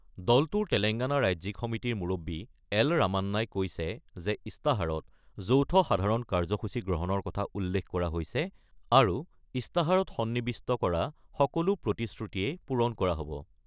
দলটোৰ তেলেংগানা ৰাজ্যিক সমিতিৰ মুৰববী এল ৰামান্নাই কৈছে যে ইস্তাহাৰত যৌথ সাধাৰণ কাৰ্যসূচী গ্ৰহণৰ কথা উল্লেখ কৰা হৈছে আৰু ইস্তাহাৰত সন্নিৱিষ্ট কৰা সকলো প্ৰতিশ্ৰুতিয়েই পূৰণ কৰা হ'ব।